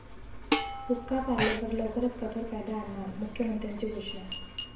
हुक्का पार्लरवर लवकरच कठोर कायदा आणणार', मुख्यमंत्र्याची घोषणा